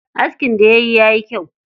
Askin da yayi ya yi kyau.